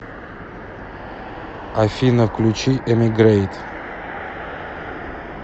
афина включи эмигрэйт